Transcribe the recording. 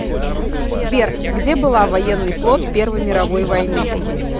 сбер где была военный флот первой мировой войны